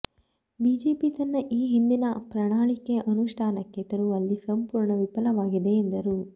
BJP ತನ್ನ ಈ ಹಿಂದಿನ ಪ್ರಣಾಳಿಕೆ ಅನುಷ್ಠಾನಕ್ಕೆ ತರುವಲ್ಲಿ ಸಂಪೂರ್ಣ ವಿಫಲವಾಗಿದೆ ಎಂದರು